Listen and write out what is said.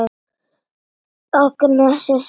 Agnes er sama sinnis.